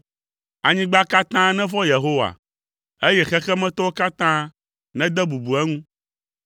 Anyigba katã nevɔ̃ Yehowa, eye xexemetɔwo katã nede bubu eŋu.